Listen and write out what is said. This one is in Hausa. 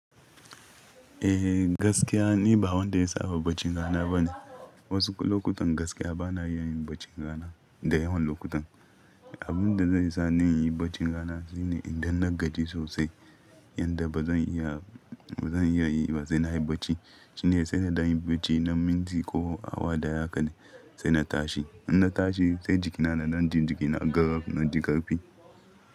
Eh gaskiya ni ba wanda ya saba baccin rana ba ne. Wasu lokutan gaskiya ba na iya yin bacci rana da yawan lokutan. Abun da zai sa na yi bacci rana shine idan na gaji sosai yanda ba zan iya, ba zan iya yi ba sai na yi bacci shine sai da na yi bacci na minti ko awa daya haka ne sai na tashi. In na tashi sai jikina na nan jin jiki na karfi, na ji ƙarfi.